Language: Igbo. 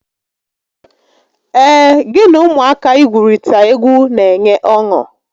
Ee, gị na ụmụaka igwurita egwu n'enye ọṅụ